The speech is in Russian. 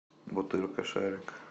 бутырка шарик